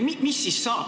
Mis siis saab?